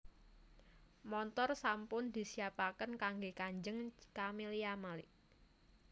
Montor sampun disiapaken kangge kanjeng Camelia Malik